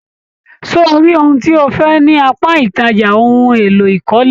Ṣé o rí ohun tí o fẹ ní apá ìtajà ohùn èlò ìkọ́lé?